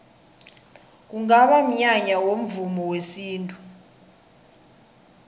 kungaba mnyanya womvumo wesintu